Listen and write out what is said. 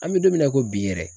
An bɛ don min na i ko bi yɛrɛ.